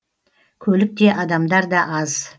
көлік те адамдар да аз